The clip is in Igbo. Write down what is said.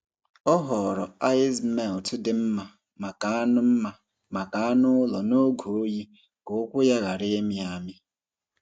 Ọ họọrọ ice melt dị mma maka anụ mma maka anụ ụlọ n’oge oyi ka ụkwụ ya ghara ịmị amị.